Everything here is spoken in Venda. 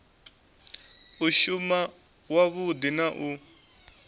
u shuma wavhudi na u